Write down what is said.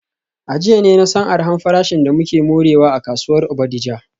A jiya ne na san arha farashin da muke morewa a kasuwar Bodija.